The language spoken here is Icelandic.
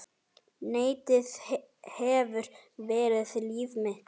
Netið hefur verið líf mitt.